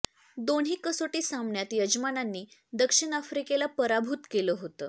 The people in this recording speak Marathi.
दोन्ही कसोटी सामन्यात यजमानांनी दक्षिण आफ्रिकेला पराभूत केलं होतं